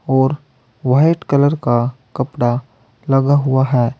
और white colour का कपड़ा लगा हुआ है।